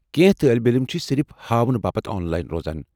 کینٛہہ طالب علم چھِ صرف ہاونہٕ باپت آن لاین روزان۔